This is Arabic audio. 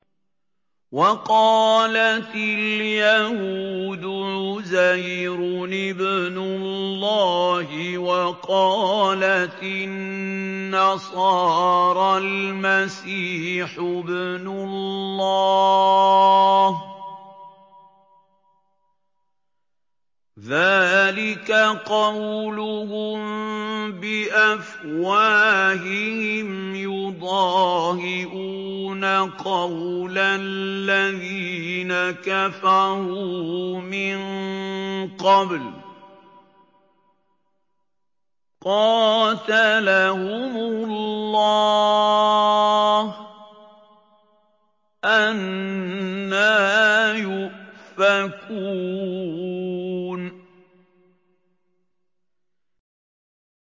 وَقَالَتِ الْيَهُودُ عُزَيْرٌ ابْنُ اللَّهِ وَقَالَتِ النَّصَارَى الْمَسِيحُ ابْنُ اللَّهِ ۖ ذَٰلِكَ قَوْلُهُم بِأَفْوَاهِهِمْ ۖ يُضَاهِئُونَ قَوْلَ الَّذِينَ كَفَرُوا مِن قَبْلُ ۚ قَاتَلَهُمُ اللَّهُ ۚ أَنَّىٰ يُؤْفَكُونَ